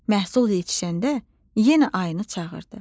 Məhsul yetişəndə yenə ayını çağırdı.